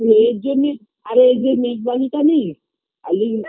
আর এজন্যে আরে এই জন্যে নেই আই আই